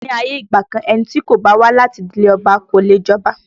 Ní ayé ìgbà kan, ẹni tí kò bá wá láti ìdílé Ọba kò leè jọba